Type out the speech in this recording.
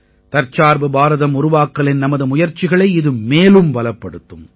தற்சார்பு பாரதம் உருவாக்கலின் நமது முயற்சிகளை இது மேலும் பலப்படுத்தும்